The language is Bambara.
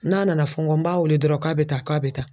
N'a nana fɔ n kɔ? n b'a weele dɔrɔn k'a bɛ taa k'a bɛ taa.